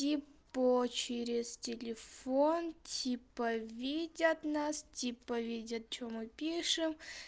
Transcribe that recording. типа через телефон типа видят нас типа видят что мы пишем